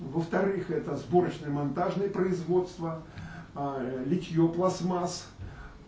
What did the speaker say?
во-вторых сборочное монтажное производство литье пластмасс